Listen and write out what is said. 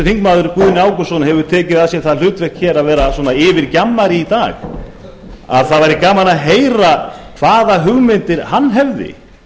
þingmaður guðni ágústsson hefur tekið að sér það hlutverk að vera yfirgjammari í dag það væri gaman að heyra hvaða hugmyndir hann hefði